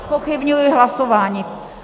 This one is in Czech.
Zpochybňuji hlasování.